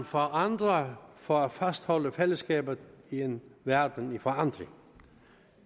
forandrer for at fastholde fællesskabet i en verden i forandring